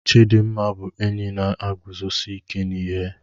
Chidimma bụ enyi m na-eguzosi ike n'ihe